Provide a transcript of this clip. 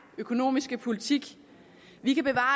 økonomiske politik vi kan bevare